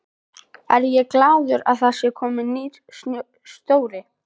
Er ég glaður að það er kominn nýr stjóri?